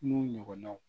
N'u ɲɔgɔnnaw